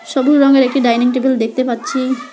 ছোবুজ রঙের একটা dining table দেখতে পাচ্ছি।